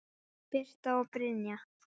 Birta og Brynja.